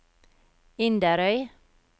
Inderøy